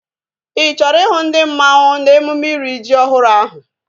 Ị chọrọ ihu ndi mmanwu n'emume iri ji ọhụrụ ahu?